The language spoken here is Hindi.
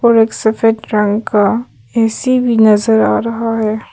और एक सफेद रंग का ए_सी भी नजर आ रहा है।